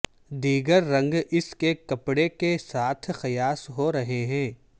دیگر رنگ اس کے کپڑے کے ساتھ قیاس ہورہے ہے